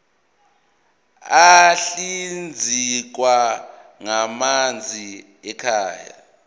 ahlinzekwa ngamanzi ekhaya